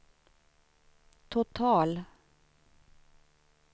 total